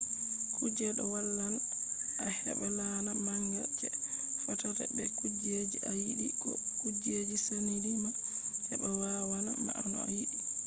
kuje ɗo wallan a heɓa laana manga je fottata be kujeji a yiɗi ko kujeji saɗini ma. heɓa wanna ma no a yiɗi